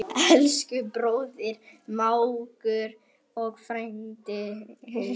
Elsku bróðir, mágur og frændi.